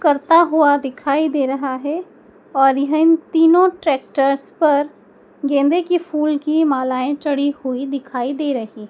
करता हुआ दिखाई दे रहा है और यह तीनों ट्रैक्टर्स पर गेंदे के फूल की मालाएं चढ़ी हुई दिखाई दे रही--